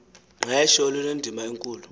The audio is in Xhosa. qesho lunendima enkulu